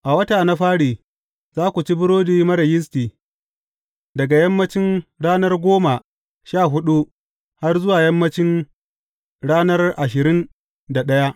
A wata na fari, za ku ci burodi marar yisti daga yammancin ranar goma sha huɗu har zuwa yammancin ranar ashirin da ɗaya.